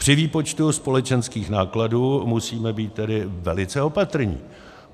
Při výpočtu společenských nákladů musíme být tedy velice opatrní.